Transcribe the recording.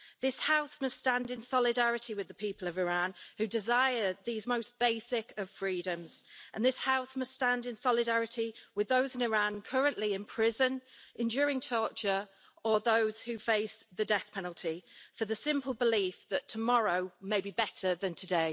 This House must stand in solidarity with the people of Iran, who desire these most basic of freedoms, and this House must stand in solidarity with those in Iran currently in prison, enduring torture, or those who face the death penalty for the simple belief that tomorrow may be better than today.